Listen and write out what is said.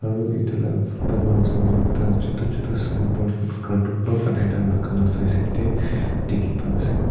Aro etu la photo la osor dae ekta chutu chutu signboard cartoon para banaina rakhala side side dae dekhi pai ase.